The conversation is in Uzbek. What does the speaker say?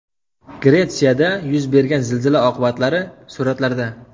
Gretsiyada yuz bergan zilzila oqibatlari suratlarda.